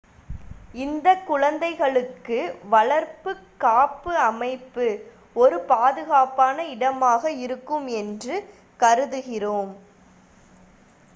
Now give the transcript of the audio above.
இந்தக் குழந்தைகளுக்கு வளர்ப்புக் காப்பு அமைப்பு ஒரு பாதுகாப்பான இடமாக இருக்கும் என்று கருதுகிறோம்